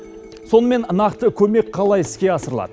сонымен нақты көмек қалай іске асырылады